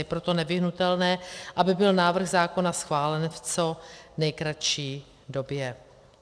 Je proto nevyhnutelné, aby byl návrh zákona schválen v co nejkratší době.